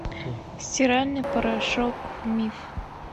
стиральный порошок миф